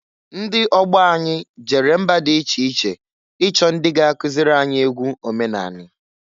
Ndị ọgbọ anyị jere mba di iche iche ichọ ndị ga- akụzịlị anyị egwu omenanị.